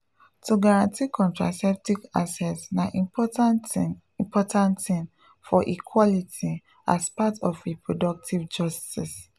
to guarantee contraceptive access na important thing important thing for equality as part of reproductive justice.